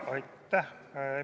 Aitäh!